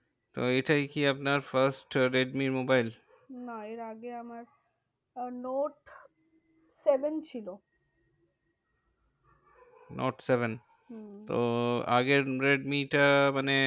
তো এটাই কি আপনার first রেডমি মোবাইল? না এর আগে আমার আহ নোট সেভেন ছিল। Note seven? হম তো আগের রেডিমিটা মানে